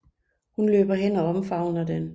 Hun løber hen og omfavner den